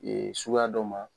Ee suguya dɔ ma